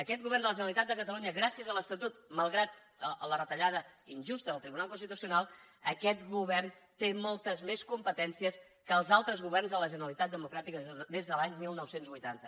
aquest govern de la generalitat de catalunya gràcies a l’estatut malgrat la retallada injusta del tribunal constitucional té moltes més competències que els altres governs de la generalitat democràtica des de l’any dinou vuitanta